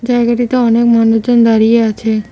জায়গাটিতে অনেক মানুষজন দাঁড়িয়ে আছে।